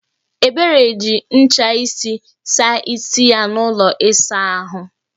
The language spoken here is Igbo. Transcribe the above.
Ebere ji ncha isi saa isi ya n'ụlọ ịsa ahụ